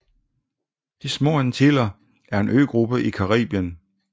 De Små Antiller er en øgruppe i Caribien